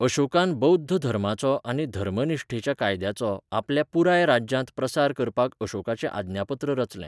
अशोकान बौध्द धर्माचो आनी 'धर्मनिश्ठेच्या कायद्याचो' आपल्या पुराय राज्यांत प्रसार करपाक अशोकाचें आज्ञापत्र रचलें.